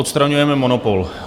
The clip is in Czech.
Odstraňujeme monopol.